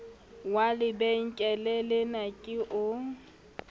wa lebenkele lena ke o